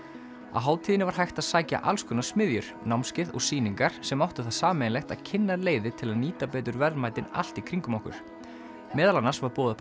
á hátíðinni var hægt að sækja alls konar smiðjur námskeið og sýningar sem áttu það sameiginlegt að kynna leiðir til að nýta betur verðmætin allt í kringum okkur meðal annars var boðið upp